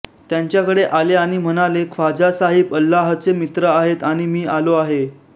यांच्याकडे आले आणि म्हणाले ख्वाजा साहिब अल्लाहचे मित्र आहेत आणि मी आलो आहे